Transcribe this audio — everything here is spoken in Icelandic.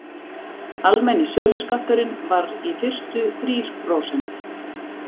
almenni söluskatturinn var í fyrstu þrír prósent